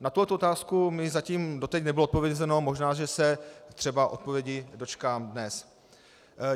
Na tuto otázku mi zatím doteď nebylo odpovězeno, možná že se třeba odpovědi dočkám dnes.